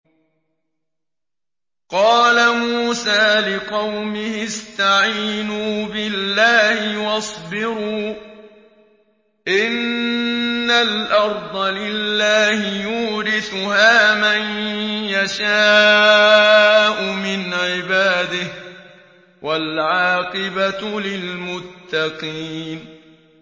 قَالَ مُوسَىٰ لِقَوْمِهِ اسْتَعِينُوا بِاللَّهِ وَاصْبِرُوا ۖ إِنَّ الْأَرْضَ لِلَّهِ يُورِثُهَا مَن يَشَاءُ مِنْ عِبَادِهِ ۖ وَالْعَاقِبَةُ لِلْمُتَّقِينَ